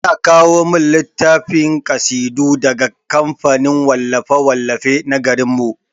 Ana kawo min littafin kasidu daga kamfanin wallafe-wallafe na garin mu.